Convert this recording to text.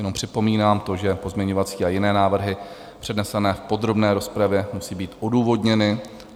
Jenom připomínám to, že pozměňovací a jiné návrhy přednesené v podrobné rozpravě musí být odůvodněny.